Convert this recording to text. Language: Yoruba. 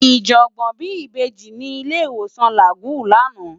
Iyabo bi ibèji ni ilé iwósán Lágúùn làná